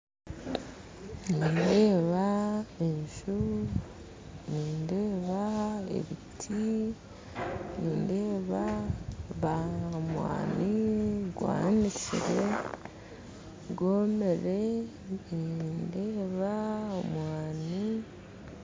Nindeeba enju, nindeeba ebiti, nindeeba omwaani gwanikire gwomire